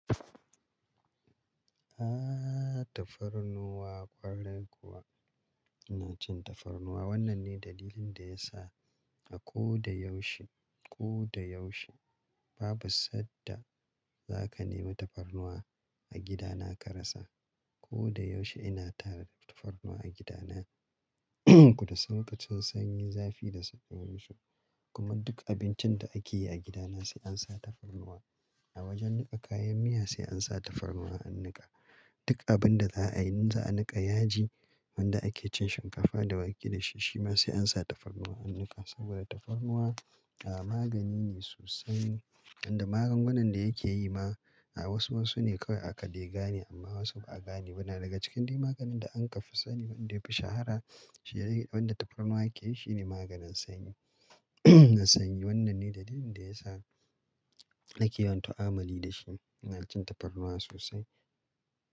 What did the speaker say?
Ah tafarnuwa ƙwarai kuwa ina cin tafarnuwa. Wannan ne dalilin da ya sa a ko da yaushe, ko da yaushe babu sadda za ka nemi tafarnuwa a gidana ka rasa. Ko da yaushe ina tara tafarnuwa a gidana da sarka, lokacin sanyi, zafi da safe ko yanzu. Kuma duk abincin da ake yi a gidana sai an sa tafarnuwa. A wajen niƙa kayan miya sai an sa tafarnuwa a niƙa. Duk abin da za a yi in za a niƙa yaji wanda ake cin shinkafa da wake da shi, shi ma sai an sa tafarnuwa a niƙa. Saboda tafarnuwa ah magani ne sosai. Inda maganganun da yake yi ma a wasu wasu ne kawai aka degane amma wasu ba a gane ba na. Daga cikin duk maganin da an kafa sani wanda ya fi shahara shine wanda tafarnuwa yake yi shine maganin sanyi. Na sanyi wannan ne dalilin da ya sa ake yin tu'amuli da shi. Ina cin tafarnuwa sosai.